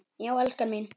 Já, elskan mín!